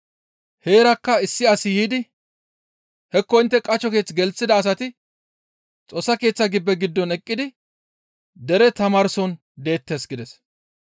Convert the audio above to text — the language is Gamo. Heerakka issi asi yiidi, «Hekko intte qasho keeththe gelththida asati Xoossa Keeththa gibbe giddon eqqidi dere tamaarson deettes» gides.